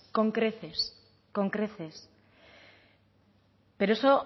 con creces con creces pero eso